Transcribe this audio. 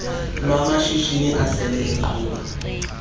lwamashishini asele eqhuba